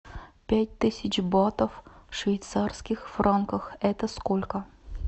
пять тысяч батов в швейцарских франках это сколько